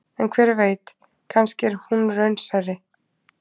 En hver veit, kannski er hún raunsærri.